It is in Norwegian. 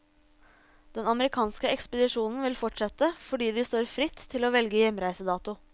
Den amerikanske ekspedisjonen vil fortsette, fordi de står fritt til å velge hjemreisedato.